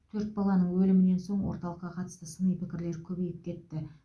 төрт баланың өлімінен соң орталыққа қатысты сыни пікірлер көбейіп кетті